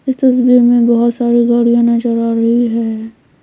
इस तस्वीर में बहुत सारी गाड़ियां नजर आ रही है।